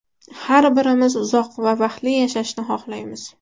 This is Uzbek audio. Har birimiz uzoq va baxtli yashashni xohlaymiz.